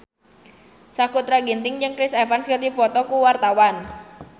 Sakutra Ginting jeung Chris Evans keur dipoto ku wartawan